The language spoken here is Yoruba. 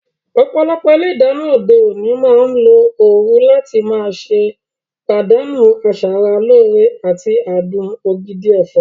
Ọ̀pọ̀lọpọ̀ ilé ìdáná òde òní máa ń lo ooru láti má ṣe pàdánù asara lóore àti adùn ògidì ẹ̀fọ́.